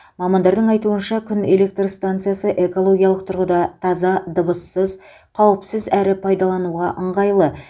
мамандардың айтуынша күн электр станциясы экологиялық тұрғыда таза дыбыссыз қауіпсіз әрі пайдалануға ыңғайлы